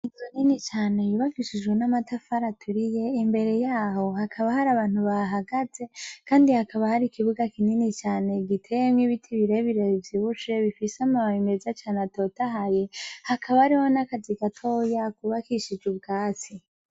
Inzu Nini cane yubakishijwe n'amatafari aturiye imbere yaho hakaba hari abantu bahahagaze kandi hakaba hari ikibuga kinini cane giteyemwo ibiti birebire bivyibushe bifise amababi meza atotahaye hakaba hariho n'akazu gatoya kubakishijwe ubwatsi.